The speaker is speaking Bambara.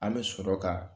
An bɛ sɔrɔ ka